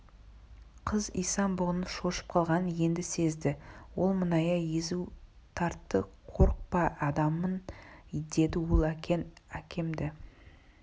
қыз исан-бұғының шошып қалғанын енді сезді ол мұңая езу тартты қорықпа адаммын деді ол әкең әкемді